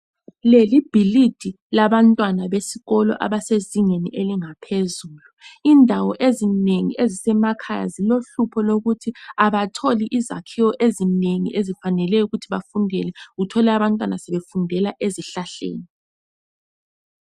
Leli libhilidi labantwana besikolo abase ezingeni elingaphezulu indawo ezinengi ezisemakhaya zilohlupho lokuthi abatholi izakhiwo ezinengi ezifaneleyo ukuthi bafundele, uthole abantwana sebefundela ezihlahleni.